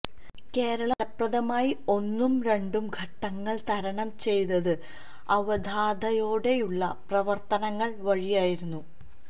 കേരളം ഫലപ്രദമായി ഒന്നും രണ്ടും ഘട്ടങ്ങൾ തരണം ചെയ്തത് അവധാനതയോടെയുള്ള പ്രവർത്തനങ്ങൾ വഴിയായിരുന്നു